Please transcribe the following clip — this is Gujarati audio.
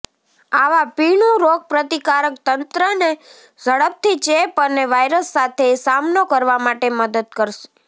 આવા પીણું રોગપ્રતિકારક તંત્રને ઝડપથી ચેપ અને વાયરસ સાથે સામનો કરવા માટે મદદ કરશે